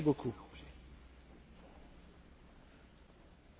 Monsieur Preda, vous avez l'habitude de m'écouter avec attention.